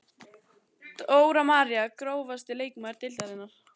Dóra María Grófasti leikmaður deildarinnar?